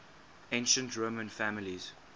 ancient roman families